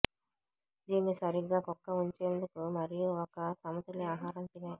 దీన్ని సరిగ్గా కుక్క ఉంచేందుకు మరియు ఒక సమతుల్య ఆహారం తినే